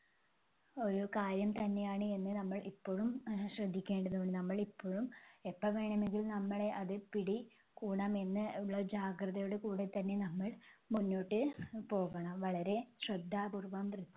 ഒരു കാര്യം തന്നെയാണ് എന്ന് നമ്മൾ ഇപ്പഴും ആഹ് ശ്രദ്ധിക്കേണ്ടതാണ്. നമ്മൾ ഇപ്പഴും എപ്പോ വേണമെങ്കിലും നമ്മളെ അത് പിടികൂടാമെന്ന് ഉള്ള ജാഗ്രതയോടെ കൂടെ തന്നെ നമ്മൾ മുന്നോട്ട് അഹ് പോകണം. വളരെ ശ്രദ്ധാപൂർവ്വന്തര